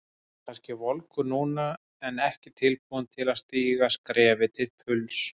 Hann er kannski volgur núna en ekki tilbúinn til að stíga skrefið til fulls.